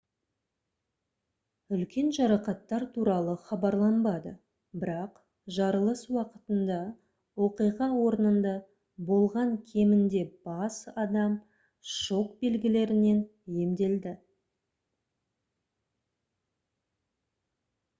үлкен жарақаттар туралы хабарланбады бірақ жарылыс уақытында оқиға орнында болған кемінде бас адам шок белгілерінен емделді